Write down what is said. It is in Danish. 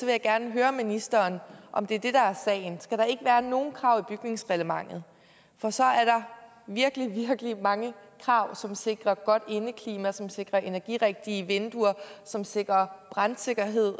jeg gerne høre ministeren om det er det der er sagen skal der ikke være nogen krav i bygningsreglementet for så er der virkelig virkelig mange krav som sikrer godt indeklima som sikrer energirigtige vinduer som sikrer brandsikkerhed